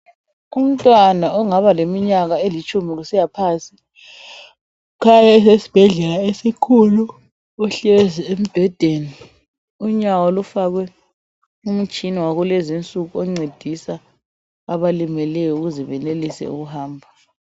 Umntwana ongaba leminyaka elitshumi kusiyaphansi ukhanya esesibhedlela esikhulu; uhlezi embhedeni unyawo lufakwe umtshina wakulezinsuku oncedisa abalimeleyo ukuze benelise ukuhamba.